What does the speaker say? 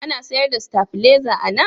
Ana sayar da sitabileza a nan?